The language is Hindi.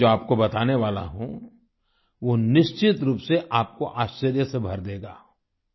मैं जो आपको बताने वाला हूँ वो निश्चित रूप से आपको आश्चर्य से भर देगा